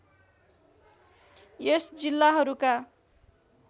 यस जिल्लाहरूका